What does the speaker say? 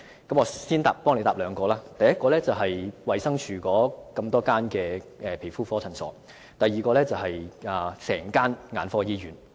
我姑且先代他回答兩個問題，第一個是衞生署轄下的所有皮膚科診所，第二個是整間眼科醫院。